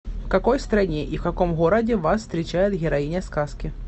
в какой стране и в каком городе вас встречает героиня сказки